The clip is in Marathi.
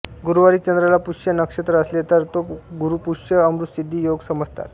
गुरुवारी चंद्राला पुष्य नक्षत्र असले तर तो गुरूपुष्य अमृतसिद्धी योग समजतात